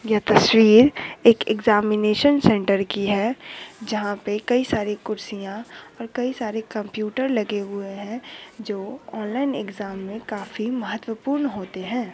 ये तस्वीर एक एग्जामिनेशन सेन्टर की है जहां पे कई सारी कुर्सियां और कई सारी कंप्यूटर लगे हुए है जो ऑनलाइन एग्जाम में काफी महत्वपूर्ण होते हैं।